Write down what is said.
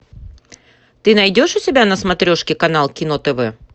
ты найдешь у себя на смотрешке канал кино тв